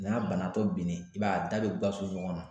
N'a banabaatɔ binnen i b'a ye da bɛ ŋɔnɔn